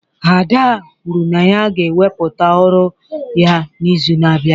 Ada kwuru na ya ga-ewepụta ọrụ ya n'izu na-abịa